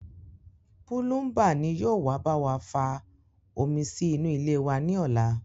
Púlúmbà ni yóò wá bá wa fa omi sí inú ilé wa ní ọ̀la